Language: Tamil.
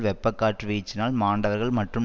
வெப்பக் காற்று வீச்சினால் மாண்டவர்கள் மற்றும்